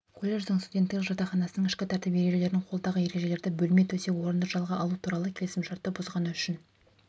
колледждің студенттік жатақханасының ішкі тәртіп ережелерін қолдағы ережелерді бөлме төсек-орынды жалға алу туралы келісімшартты бұзғаны үшін